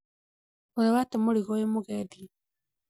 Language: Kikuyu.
ũrĩ wate mũrigo wĩ mugendi?